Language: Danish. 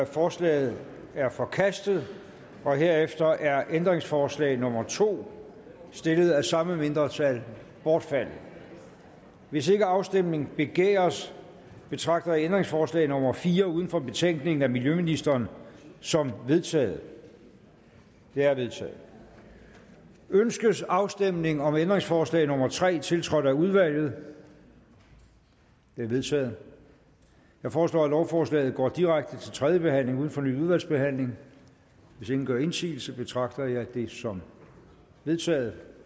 forslaget er forkastet herefter er ændringsforslag nummer to stillet af samme mindretal bortfaldet hvis ikke afstemning begæres betragter jeg ændringsforslag nummer fire uden for betænkningen af miljøministeren som vedtaget det er vedtaget ønskes afstemning om ændringsforslag nummer tre tiltrådt af udvalget det er vedtaget jeg foreslår at lovforslaget går direkte til tredje behandling uden fornyet udvalgsbehandling hvis ingen gør indsigelse betragter jeg det som vedtaget